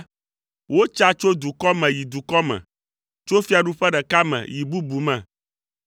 wotsa tso dukɔ me yi dukɔ me, tso fiaɖuƒe ɖeka me yi bubu me.